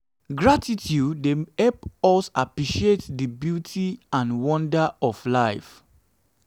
gratitude dey help us appreciate di beauty and wonder of life.